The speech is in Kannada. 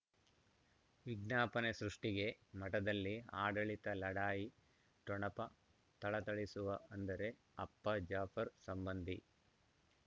ವಿಜ್ಞಾಪನೆ ಸೃಷ್ಟಿಗೆ ಮಠದಲ್ಲಿ ಆಡಳಿತ ಲಢಾಯಿ ಠೊಣಪ ಥಳಥಳಿಸುವ ಅಂದರೆ ಅಪ್ಪ ಜಾಫರ್ ಸಂಬಂಧಿ